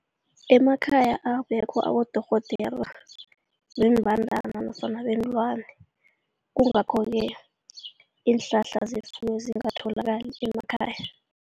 Emakhaya abekho abodorhodera zeembandana nofana zeenlwani kungakho-ke iinhlahla zefuyo zingatholakali emakhaya.